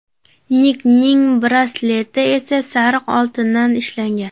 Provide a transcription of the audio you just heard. Nikning brasleti esa sariq oltindan ishlangan.